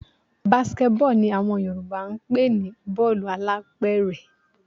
Basket ball ni àwọn Yorùbá ń pè ní bọ́ọ̀lù alápẹ̀rẹ̀